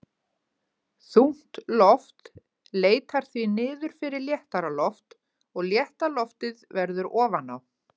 Þungt loft leitar því niður fyrir léttara loft og létta loftið verður ofan á.